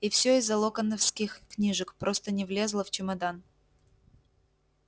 и всё из-за локонсовских книжек просто не влезла в чемодан